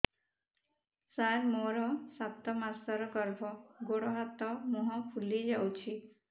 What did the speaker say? ସାର ମୋର ସାତ ମାସର ଗର୍ଭ ଗୋଡ଼ ହାତ ମୁହଁ ଫୁଲି ଯାଉଛି